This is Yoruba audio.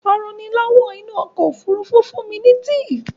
Aranilówó inú okò òfurufú fún mi tea